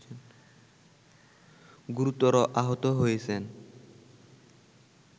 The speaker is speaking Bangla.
গুরুতর আহত হয়েছেন